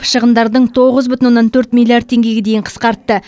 шығындардың тоғыз бүтін оннан төрт миллиард теңгеге дейін қысқартты